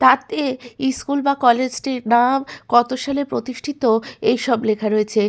তাতে ইস্কুল বা কলেজ -টির নাম কত সালে প্রতিষ্ঠিত এইসব লেখা রয়েছে।